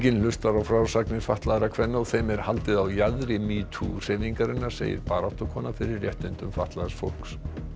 hlustar á frásagnir fatlaðra kvenna og þeim er haldið á jaðri metoo hreyfingarinnar segir baráttukona fyrir réttindum fatlaðs fólks